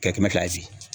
Kɛ kɛmɛ kilasi